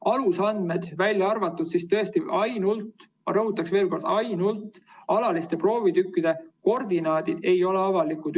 Alusandmed, välja arvatud ainult – rõhutan veel kord: ainult – alaliste proovitükkide koordinaadid, ei ole avalikud.